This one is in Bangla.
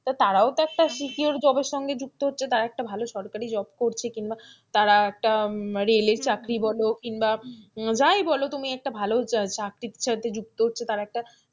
তারাও তো একটা secure job সঙ্গে যুক্ত আছে তারাও একটা সরকারি job করছে কিংবাতারা একটা রেলের চাকরি বল কিংবা যায় বলো তুমি একটা ভালো চাকরির সাথে যুক্ত হচ্ছে, তারা একটা,